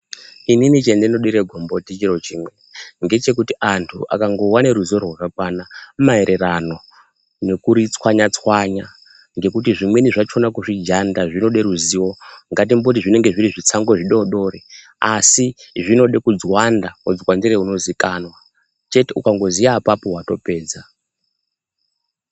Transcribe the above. Inini chendinodire gomboti chirochimwe ngechekuti antu akangova neruzivo rwakakwana maererano nekuri tswanya-tswanya. Ngekuti zvimweni zvakona kuzvijanda zvinode ruziwo. Ngatimboti zvinenge zviri zvitsango zvidodori. Asi zvinode kudzwanda udzwandire unozikanwa chete ukangoziya apapo vatopedza.